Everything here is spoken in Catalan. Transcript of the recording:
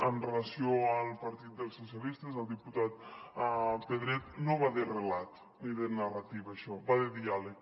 en relació amb el partit dels socialistes al diputat pedret no va de relat ni de narrativa això va de diàleg